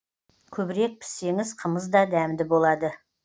көбірек піссеңіз қымыз да дәмді болады